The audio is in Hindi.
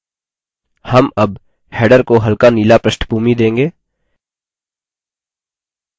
हम अब header को हल्का नीला प्रष्ठभूमि देंगे